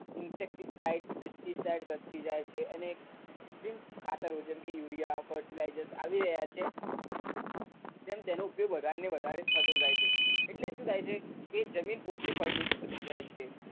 insecticides pesticides વધતી જાય અને કુત્રિમ ખાતરો જેમ કે urea fertilisers આવી રહ્યા છે તેમ તેનો ઉપયોગ વધારે ને વધારે થતો જાય છે એટલે શું થાય છે કે જમીન ઓછી ફળદ્રુપ થતી જાય છે